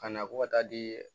Ka na ko ka taa di